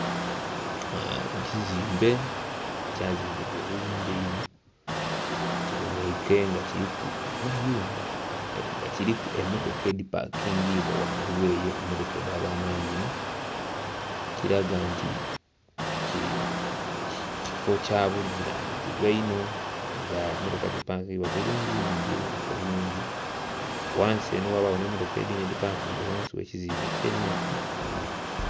Ekizimbe ekyazimbibwa obulungi einho, kibonheike nga kiriku amayumba nga kiriku emmotoka edhipakingibwa ghangulu eyo, emmotoka edha bwananyini, ekiraga nti kifo kyabuvunanizibwa inho nga mmotoka dhipangibwa bulungi inho dhili bonheka bulungi. Ghansi eno ghabagho n'emmotoka edhindhi edhipakinze ghansi gh'ekizimbe kyene ekyo.